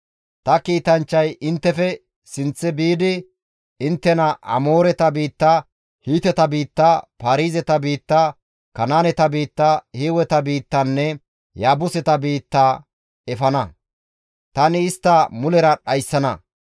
Ta kiitanchchay inttefe sinththe biidi, inttena Amooreta biitta, Hiiteta biitta, Paarizeta biitta, Kanaaneta biitta, Hiiweta biittanne Yaabuseta biitta efana. Tani istta mulera dhayssana.